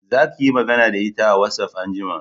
Za ki yi magana da ita a watsaf anjima